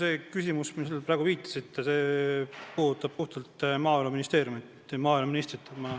See küsimus, millele te praegu viitasite, puudutab puhtalt Maaeluministeeriumi ja maaeluministrit.